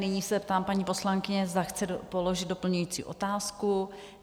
Nyní se ptám paní poslankyně, zde chce položit doplňující otázku?